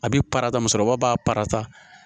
A bɛ parata musokɔrɔba b'a parata